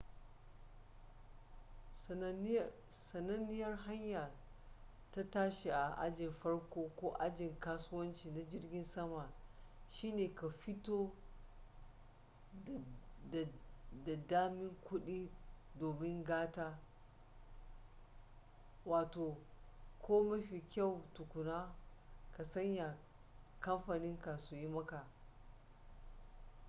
sananniyar hanya ta tashi a ajin farko ko ajin kasuwanci na jirgin sama shine ka fito da damin kudi domin gata ko mafi kyau tukuna ka sanya kamfaninka su yi maka